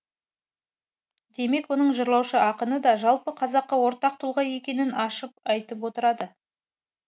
демек оның жырлаушы ақыны да жалпы қазаққа ортақ тұлға екенін ашып айтып отырады